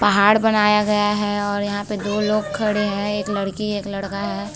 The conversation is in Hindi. पहाड़ बनाया गया है और यहाँ पे दो लोग खड़े है एक लड़की और एक लड़का। है ।